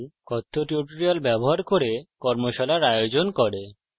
কথ্য tutorials ব্যবহার করে কর্মশালার আয়োজন করে